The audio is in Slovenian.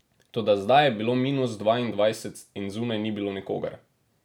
Toda zdaj je bilo minus dvaindvajset in zunaj ni bilo nikogar.